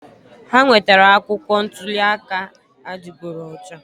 Ha wetara akwụkwọ ntuli aka adịgboroja.